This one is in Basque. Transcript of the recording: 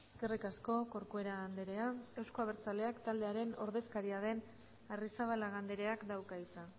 eskerrik asko corcuera andrea euzko abertzaleak taldearen ordezkaria den arrizabalaga andreak dauka hitza